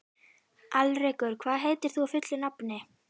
Alrekur, hvað heitir þú fullu nafni?